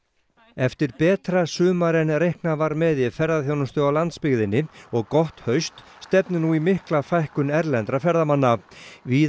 eftir betra sumar en reiknað var með í ferðaþjónustu á landsbyggðinni og gott haust stefnir nú í mikla fækkun erlendra ferðamanna víða